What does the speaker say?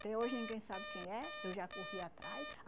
Até hoje ninguém sabe quem é, eu já corri atrás.